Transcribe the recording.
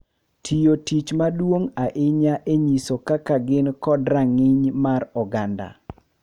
Tiyo tich maduong’ ahinya e nyiso kaka gin kod rang’iny mar oganda.